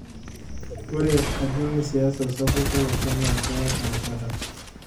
Ore ajing' siasa sapuk olosho naa keya erishata.